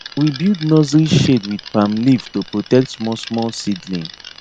we build nursery sh ade with palm leaf to protect small small seedling